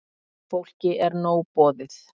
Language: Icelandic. Fólki er nóg boðið.